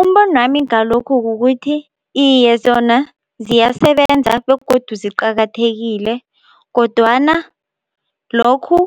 Umbonwami ngalokhu kukuthi iye zona ziyasebenza begodu ziqakathekile kodwana lokhu